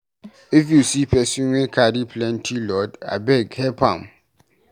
If you see pesin wey carry plenty load, abeg help am.